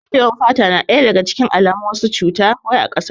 Dafe wan fata na cikin alamun wasu cuta wai a kasar waje